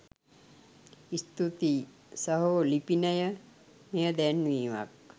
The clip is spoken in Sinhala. ස්තුතියි සහෝ ලිපිනය මෙය දැන්වීමක්